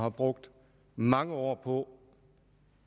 har brugt mange år på